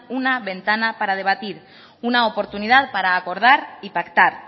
una ventana para debatir una oportunidad para acordar y pactar